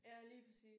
Ja lige præcis